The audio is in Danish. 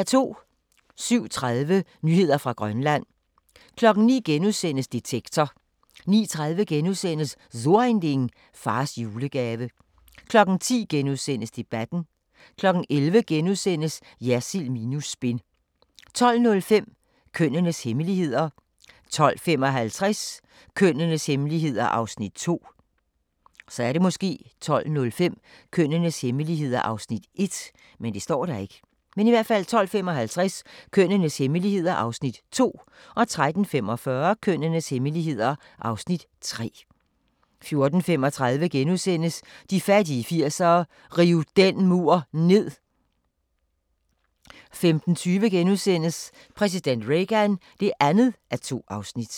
07:30: Nyheder fra Grønland 09:00: Detektor * 09:30: So Ein Ding: Fars julegave * 10:00: Debatten * 11:00: Jersild minus spin * 12:05: Kønnenes hemmeligheder 12:55: Kønnenes hemmeligheder (Afs. 2) 13:45: Kønnenes hemmeligheder (Afs. 3) 14:35: De fattige 80'ere: Riv den mur ned! * 15:20: Præsident Reagan (2:2)*